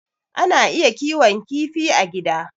Ana iya kiwon kifi a gida.